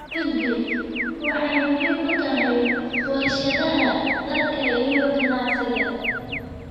Cudbi: waxay muhiim u tahay warshadaha dharka iyo ganacsiga.